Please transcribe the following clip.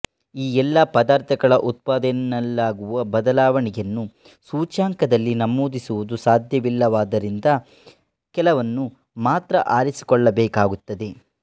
ಈ ಎಲ್ಲ ಪದಾರ್ಥಗಳ ಉತ್ಪಾದನೆಯಲ್ಲಾಗುವ ಬದಲಾವಣೆಯನ್ನೂ ಸೂಚ್ಯಂಕದಲ್ಲಿ ನಮೂದಿಸುವುದು ಸಾಧ್ಯವಿಲ್ಲವಾದ್ದರಿಂದ ಕೆಲವನ್ನು ಮಾತ್ರ ಆರಿಸಿಕೊಳ್ಳಬೇಕಾಗುತ್ತದೆ